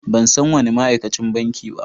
Ban san wani ma'aikacin banki ba.